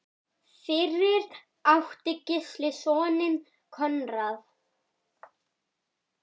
Fyrir átti Gísli soninn Konráð.